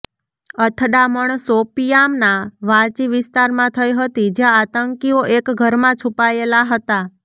અથડામણ શોપિયાંના વાચી વિસ્તારમાં થઇ હતી જ્યાં આતંકીઓ એક ઘરમાં છૂપાયેલા હતા